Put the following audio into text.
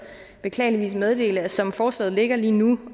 beklageligvis meddele at som forslaget ligger lige nu